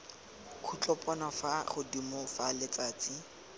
khutlopono fa godimo fa letsatsi